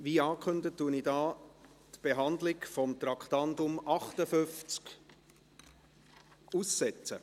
Wie angekündigt, setze ich hier die Beratung von Traktandum 58 aus.